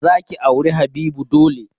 Za ki auri Habibu dole!